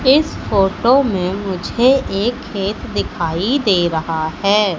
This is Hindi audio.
इस फोटो में मुझे ये खेत दिखाई दे रहा है।